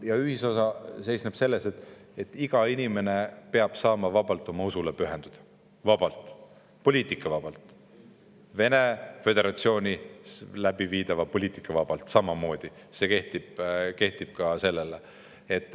Ja ühisosa seisneb selles, et iga inimene peab saama vabalt oma usule pühenduda, vabalt, poliitikavabalt, Vene föderatsiooni tehtavast poliitikast vabalt samamoodi, see kehtib ka sellele.